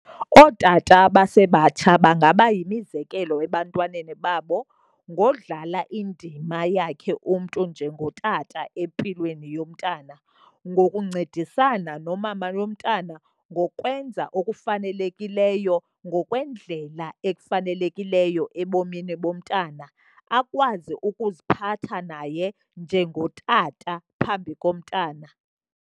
Ootata abasebatsha bangaba yimizekelo ebantwaneni babo ngodlala indima yakhe umntu njengotata empilweni yomntana, ngokuncedisana nomama womntana, ngokwenza okufanelekileyo ngokwendlela ekufanelekileyo ebomini bomntana. Akwazi ukuziphatha naye njengotata phambi komntana.